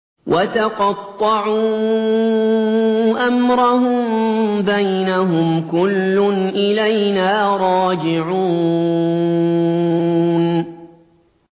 وَتَقَطَّعُوا أَمْرَهُم بَيْنَهُمْ ۖ كُلٌّ إِلَيْنَا رَاجِعُونَ